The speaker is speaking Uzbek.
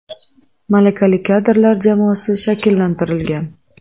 Malakali kadrlar jamoasi shakllantirilgan.